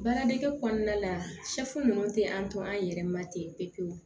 Baara dege kɔnɔna la ninnu tɛ an tɔ an yɛrɛ ma ten pewu pewu